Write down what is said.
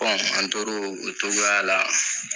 An tora o togoya la